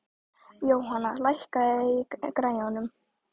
Jóhanna, lækkaðu í græjunum.